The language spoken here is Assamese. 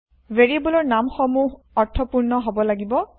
ভেৰিয়েব্লৰ নাম সমূহ অৰ্থপূৰ্ণ হব লাগিব